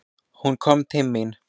Hún kom til mín.